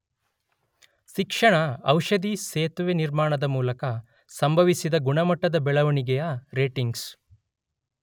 ಶಿಕ್ಷಣ ಔಷಧಿ ಸೇತುವೆ ನಿರ್ಮಾಣದ ಮೂಲಕ ಸಂಭವಿಸಿದೆ ಗುಣಮಟ್ಟದ ಬೆಳವಣಿಗೆಯ ರೇಟಿಂಗ್ಸ್.